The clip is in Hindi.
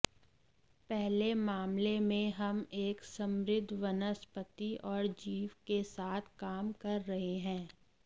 पहले मामले में हम एक समृद्ध वनस्पति और जीव के साथ काम कर रहे हैं